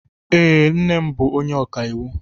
Ee, nne m bụ onye ọka iwu